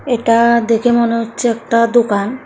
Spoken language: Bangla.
এটা দেখে মনে হচ্ছে একটা দুকান।